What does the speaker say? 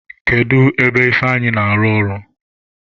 Kedu ebe Ifeanyi na-arụ ọrụ?